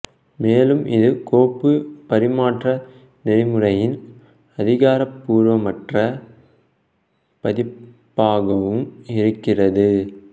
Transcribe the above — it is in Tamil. மேலும் இது கோப்பு பரிமாற்ற நெறிமுறையின் அதிகாரபூர்வமற்ற பதிப்பாகவும் இருக்கிறது